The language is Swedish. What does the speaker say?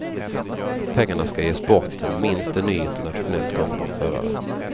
Pengarna ska ge sporten minst en ny internationellt gångbar förare.